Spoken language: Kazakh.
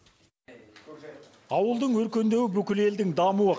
ауылдың өркендеуі бүкіл елдің дамуы